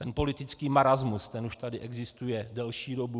Ten politický marasmus, ten už tady existuje delší dobu.